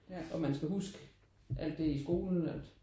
Og man skal huske alt det i skolen at